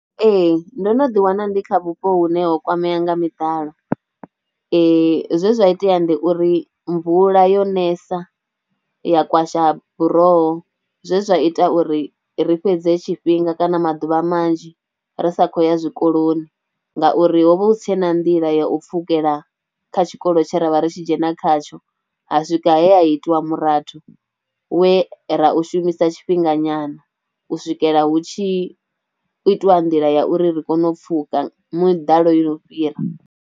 Ee ndo no ḓiwana ndi kha vhupo hune ho kwameaho nga miḓalo zwe zwa itea ndi uri mvula yo nesa ya kwasha buroho zwe zwa ita uri ri fhedze tshifhinga kana maḓuvha manzhi ri sa khou ya zwikoloni ngauri ho vha hu si tshena nḓila ya u pfhukela kha tshikolo tshe ra vha ri tshi dzhena khatsho. Ha swika he a itiwa murathu we ra u shumisa tshifhinga nyana, u swikela hu tshi itiwa nḓila ya uri ri kone u pfhuka muḓalo yo no fhira.